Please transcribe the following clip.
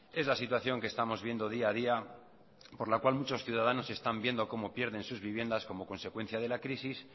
es la situación que estamos viendo día a día por la cual muchos ciudadanos están viendo cómo pierden sus viviendas como consecuencia de la crisis